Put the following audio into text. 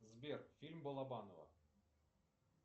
сбер фильм балабанова